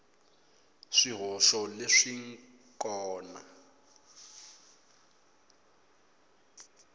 swihoxo leswi n kona a